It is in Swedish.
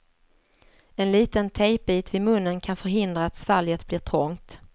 En liten tejpbit vid munnen kan förhindra att svalget blir trångt.